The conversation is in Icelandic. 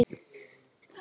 Ertu að skrifa bók núna?